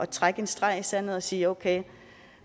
trække en streg i sandet og sige okay